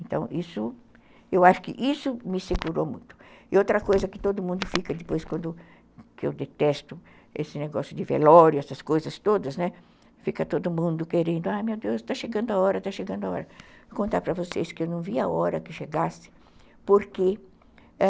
então isso eu acho que isso me segurou muito e outra coisa que todo mundo fica depois quando eu detesto esse negócio de velório essas coisas todas né fica todo mundo querendo a meu deus está chegando a hora está chegando a hora contar para vocês que eu não vi a hora que chegasse porque a